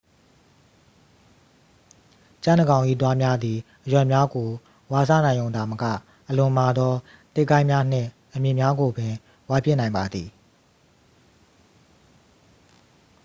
ကြံ့တစ်ကောင်၏သွားများသည် အရွက်များကို ဝါးစားနိုင်ရုံသာမက အလွန်မာသော သစ်ကိုင်းများနှင့် အမြစ်များကိုပင် ဝါးပစ်နိုင်ပါသည်